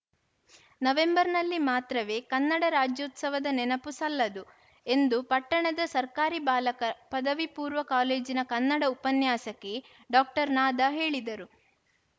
ನವೆಂಬರ್‌ನಲ್ಲಿ ಮಾತ್ರವೇ ಕನ್ನಡ ರಾಜ್ಯೋತ್ಸವದ ನೆನಪು ಸಲ್ಲದು ಎಂದು ಪಟ್ಟಣದ ಸರ್ಕಾರಿ ಬಾಲಕರಪದವಿ ಪೂರ್ವ ಕಾಲೇಜಿನ ಕನ್ನಡ ಉಪನ್ಯಾಸಕಿ ಡಾಕ್ಟರ್ ನಾದಾ ಹೇಳಿದರು